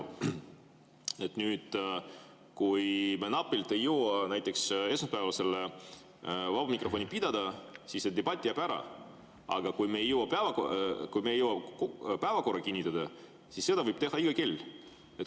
Kui me näiteks napilt ei jõua esmaspäeval vaba mikrofoni pidada, siis see debatt jääb ära, aga kui me ei jõua päevakorda kinnitada, siis seda võib teha iga kell.